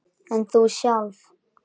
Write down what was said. En þú sjálf?